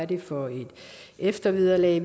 det er for et eftervederlag